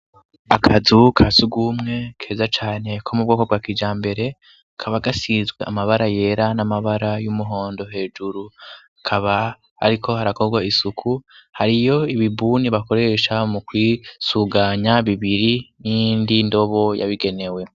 Akazu kasugumwe keza cane ko mu bwoko bwa kija mbere kaba gasizwe amabara yera n'amabara y'umuhondo hejuru kaba ariko harakorwa isuku hariyo ibibuni bakoresha mu kwisuganya bibiri n'indi ndobo yabigenewe.